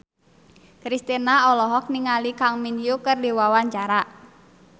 Kristina olohok ningali Kang Min Hyuk keur diwawancara